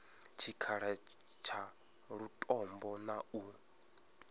tshikhala tsha lutombo na u